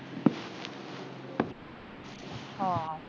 ਹਾਂ